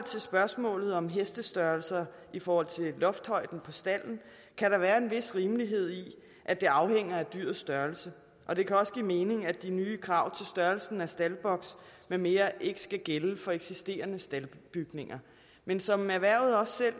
til spørgsmålet om hestestørrelser i forhold til loftshøjden på stalden kan der være en vis rimelighed i at det afhænger af dyrets størrelse og det kan også give mening at de nye krav til størrelsen af staldboks med mere ikke skal gælde for eksisterende staldbygninger men som erhvervet også